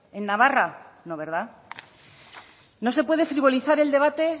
en navarra no verdad no se puede frivolizar el debate